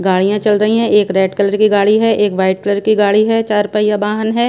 गाड़ियां चल रही हैं एक रेड कलर की गाड़ी है एक वाइट कलर की गाड़ी हैं चार पैया बाहन हैं।